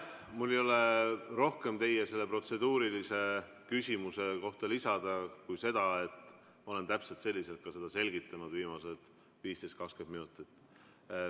Mul ei ole rohkem selle protseduurilise küsimuse kohta lisada kui seda, et olen täpselt selliselt seda ka viimased 15–20 minutit selgitanud.